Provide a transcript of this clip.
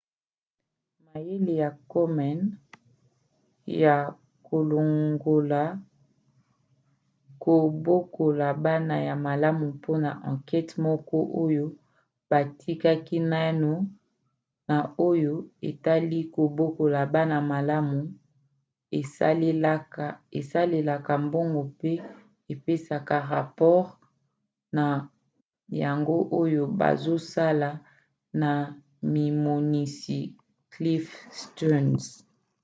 mayele ya komen ya kolongola kobokola bana ya malamu mpona ankete moko oyo bakati naino na oyo etali kobokola bana malamu esalelaka mbongo mpe epesaka rapore na yango oyo bazosala na mimonisi cliff stearns